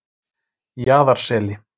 Jaðarseli